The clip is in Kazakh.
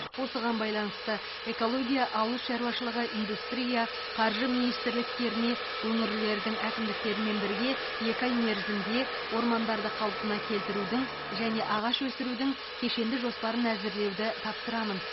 осыған байланысты экология ауыл шаруашылығы индустрия қаржы министрліктеріне өңірлердің әкімдіктерімен бірге екі ай мерзімде ормандарды қалпына келтірудің және ағаш өсірудің кешенді жоспарын әзірлеуді тапсырамын